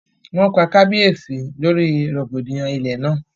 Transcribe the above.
Wọ́n pa kábíyèsí lórí rògbòdìyàn ilé náà